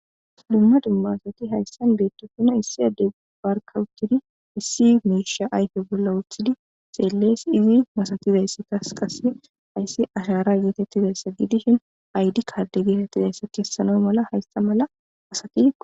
dumma dumma asati hayssan beettosuna issi adde barkawuchidi issi meisha ayfe bolla woothidi xeellees izi masatizayssi tasqas ayssi ashara yetettizayssa giidishin aydi karde geretizayssa keessano mala haysta mala asati